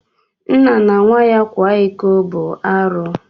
Nna na nwa ya kwa iko bu arụ.